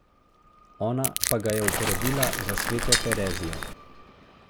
Ona pa ga je uporabila za sveto Terezijo!